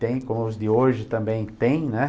Tem, como os de hoje também tem, né?